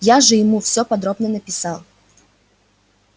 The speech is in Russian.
я же ему всё подробно написал